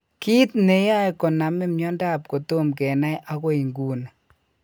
Kit ne yoe konamin miondap kotom kenai agoi nguni.